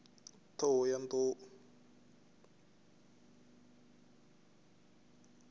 thohoyandou